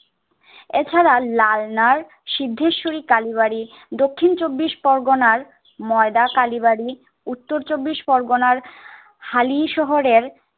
এছাড়া লালনার সিদ্ধেশরী কালীবাড়ি, দক্ষিণ চব্বিশ পরগনার ময়দা কালীবাড়ি, উত্তর চব্বিশ পরগনার হালি শহরের